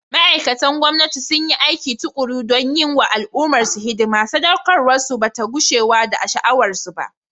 Ma’aikatan gwamnati sun yi aiki tukuru don yi wa al’ummarsu hidima, saɗaukarwarsu ba ta gushewa da sha’awarsu ba.